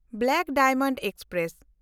black diamond express